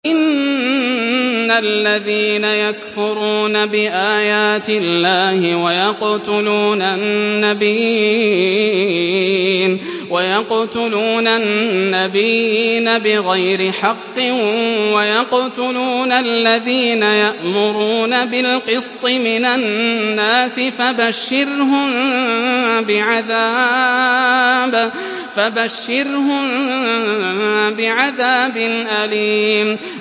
إِنَّ الَّذِينَ يَكْفُرُونَ بِآيَاتِ اللَّهِ وَيَقْتُلُونَ النَّبِيِّينَ بِغَيْرِ حَقٍّ وَيَقْتُلُونَ الَّذِينَ يَأْمُرُونَ بِالْقِسْطِ مِنَ النَّاسِ فَبَشِّرْهُم بِعَذَابٍ أَلِيمٍ